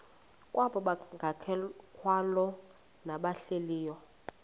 kwabangekakholwa nabahlehli leyo